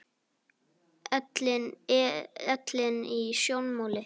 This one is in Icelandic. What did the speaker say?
Ellin í sjónmáli.